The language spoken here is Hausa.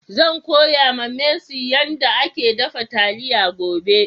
Zan koya ma mercy yan da ake dafa taliya gobe.